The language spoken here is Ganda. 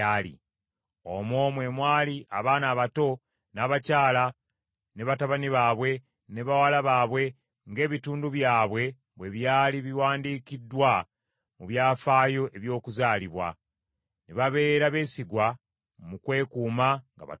Omwo mwe mwali abaana abato, n’abakyala, ne batabani baabwe, ne bawala baabwe ng’ebitundu byabwe bwe byali biwandiikiddwa mu byafaayo eby’okuzaalibwa. Ne babeera beesigwa mu kwekuuma nga batukuvu.